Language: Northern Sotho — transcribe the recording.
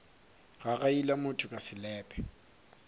gagaila motho ka selepe nna